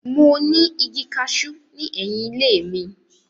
Mo ní igi kaṣú ní ẹ̀yìn ilé mi.